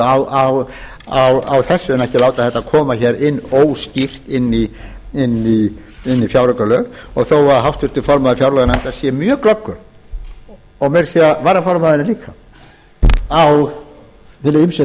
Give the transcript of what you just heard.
á þessu en ekki láta þetta koma óskýrt inn í fjáraukalög og þó að háttvirtur formaður fjárlaganefndar sé mjög glöggur og meira að segja varaformaðurinn líka á hina ýmsu